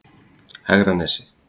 Hegranesi